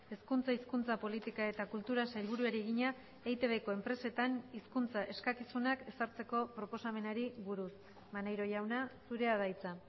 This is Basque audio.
hezkuntza hizkuntza politika eta kultura sailburuari egina eitbko enpresetan hizkuntza eskakizunak ezartzeko proposamenari buruz maneiro jauna zurea da hitza